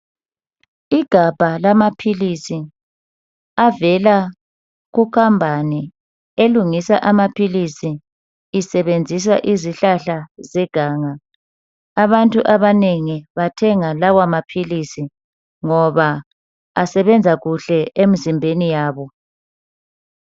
Igabha lamaphilisi avela kucompany elungisa amaphilisi isebenzisa izihlahla zeganga. Abantu abanengi bathenga lawa maphilisi ngoba esebenza kuhle emzimbeni yabo.